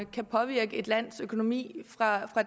kan påvirke et lands økonomi fra